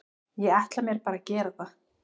Ég ætla mér bara að gera það.